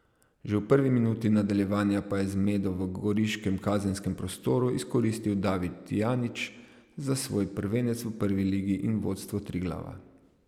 Že v prvi minuti nadaljevanja pa je zmedo v goriškem kazenskem prostoru izkoristil David Tijanić za svoj prvenec v prvi ligi in vodstvo Triglava.